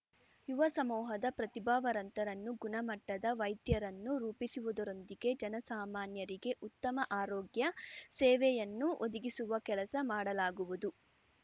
ಯುವ ಸಮೂಹದ ಪ್ರತಿಭಾವರಂತರನ್ನು ಗುಣಮಟ್ಟದ ವೈದ್ಯರನ್ನು ರೂಪಿಸುವುದರೊಂದಿಗೆ ಜನಸಾಮಾನ್ಯರಿಗೆ ಉತ್ತಮ ಆರೋಗ್ಯ ಸೇವೆಯನ್ನು ಒದಗಿಸುವ ಕೆಲಸ ಮಾಡಲಾಗುವುದು